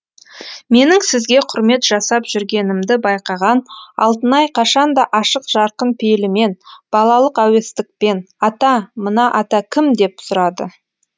менің сізге құрмет жасап жүргенімді байқаған алтынай қашанда ашық жарқын пейілімен балалық әуестікпен ата мына ата кім деп сұрады